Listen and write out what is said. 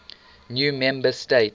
new member states